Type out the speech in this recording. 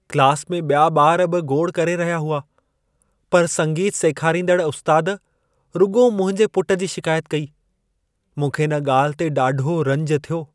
Class में ॿिया ॿार बि गोड़ करे रहिया हुआ। पर संगीत सेखारींदड़ उस्तादु रुॻो मुंहिंजे पुटु जी शिकायत कई। मूंखे इन ॻाल्हि ते ॾाढो रंज थियो।